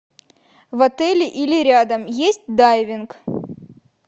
в отеле или рядом есть дайвинг